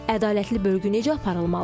Ədalətli bölgü necə aparılmalıdır?